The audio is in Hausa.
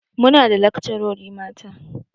Muna da lakcarori mata.